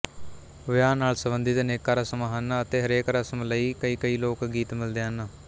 ਵਿਆਹ ਨਾਲ ਸੰਬੰਧਿਤ ਅਨੇਕਾਂ ਰਸਮਾਂ ਹਨ ਅਤੇ ਹਰੇਕ ਰਸਮ ਲਈ ਕਈਕਈ ਲੋਕ ਗੀਤ ਮਿਲਦੇ ਹਨ